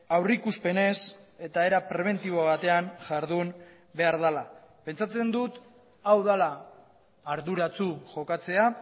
aurrikuspenez eta era prebentibo batean jardun behar dela pentsatzen dut hau dela arduratsu jokatzea